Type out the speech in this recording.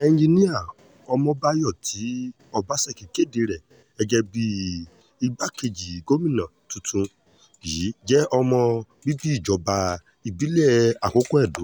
ẹnjinnìá ọmọbáyọ tí ọbaṣẹ́kí kéde rẹ̀ gẹ́gẹ́ bíi igbákejì gómìnà tuntun yìí jẹ́ ọmọ bíbí ìjọba ìbílẹ̀ àkókò edo